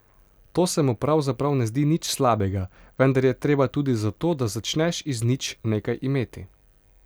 To se mu pravzaprav ne zdi nič slabega, vendar je treba tudi za to, da začneš iz nič, nekaj imeti.